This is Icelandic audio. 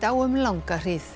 á um langa hríð